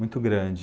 Muito grande.